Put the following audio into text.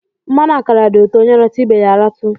Mmanụ akara di uto, onye ratu ibe ya a ratu.